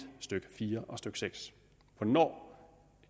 stykke fire og stykke 6 hvornår